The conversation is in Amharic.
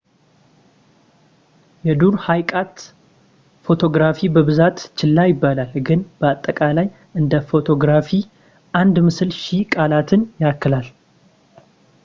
የዱር ህይቀት ፎቶግራፊ በብዛት ችላ ይባላል ግን በአጠቃላይ እንደ ፎቶግራፊ አንድ ምስል ሺህ ቃላትን ያክላል